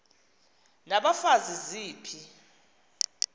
n abafazi ziphi